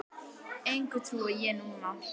Engu trúi ég núna.